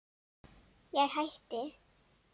Ég hætti.